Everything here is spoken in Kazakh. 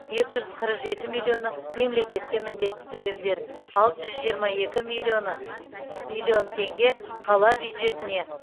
екі жүз қырық жеті миллионы мемлекетке міндетті төлемдер алты жүз жиырма екі миллионы миллион теңге қала бюджетіне